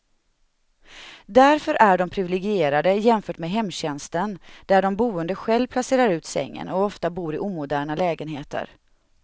Därför är de priviligierade jämfört med hemtjänsten där de boende själv placerar ut sängen, och ofta bor i omoderna lägenheter.